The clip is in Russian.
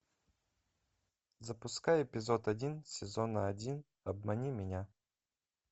запускай эпизод один сезона один обмани меня